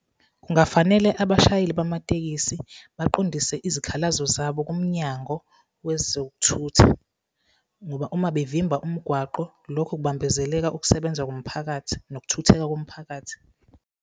Kungafanele abashayeli bamatekisi baqondise izikhalazo zabo kuMnyango wezokuThutha. Ngoba uma bevimba umgwaqo, lokho kubambezeleka ukusebenza komphakathi nokuthutheka komphakathi.